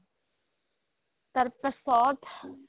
তাৰ পাছত